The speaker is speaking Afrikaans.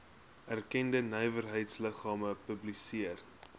erkende nywerheidsliggame publiseer